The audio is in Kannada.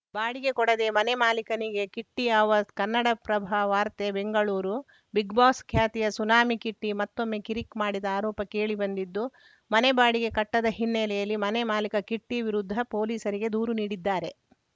ಬಾಡಿಗೆ ಕೊಡದೆ ಮನೆ ಮಾಲಿಕನಿಗೆ ಕಿಟ್ಟಿಅವಾಜ್‌ ಕನ್ನಡಪ್ರಭ ವಾರ್ತೆ ಬೆಂಗಳೂರು ಬಿಗ್‌ಬಾಸ್‌ ಖ್ಯಾತಿಯ ಸುನಾಮಿ ಕಿಟ್ಟಿಮತ್ತೊಮ್ಮೆ ಕಿರಿಕ್‌ ಮಾಡಿದ ಆರೋಪ ಕೇಳಿ ಬಂದಿದ್ದು ಮನೆ ಬಾಡಿಗೆ ಕಟ್ಟದ ಹಿನ್ನೆಲೆಯಲ್ಲಿ ಮನೆ ಮಾಲಿಕ ಕಿಟ್ಟಿವಿರುದ್ಧ ಪೊಲೀಸರಿಗೆ ದೂರು ನೀಡಿದ್ದಾರೆ